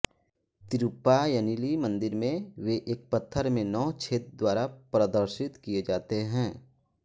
तिरुप्पायनीली मंदिर में वे एक पत्थर में नौ छेद द्वारा प्रदर्शित किये जाते हैं